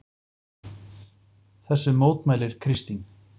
Þessu mótmælir Kristín.